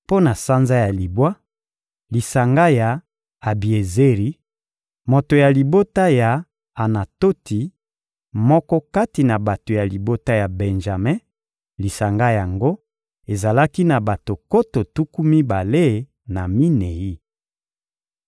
Mpo na sanza ya libwa: lisanga ya Abiezeri, moto ya libota ya Anatoti, moko kati na bato ya libota ya Benjame; lisanga yango ezalaki na bato nkoto tuku mibale na minei.